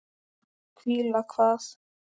Hvíla hvað?